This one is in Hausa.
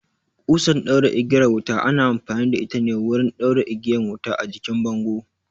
Ƙusan ɗaura igiyar wuta ana amfani da ita ne wurin ɗaura igiyan wuta a jikin bango